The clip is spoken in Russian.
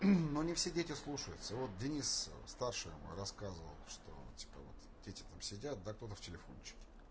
но не все дети слушаются вот денис старшая моя рассказывала что типа вот дети там сидят кто-то в телефончике